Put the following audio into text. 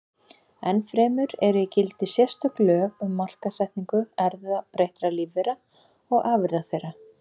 Ennfremur eru í gildi sérstök lög um markaðssetningu erfðabreyttra lífvera og afurða þeirra.